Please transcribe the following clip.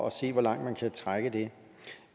at se hvor langt man kan trække det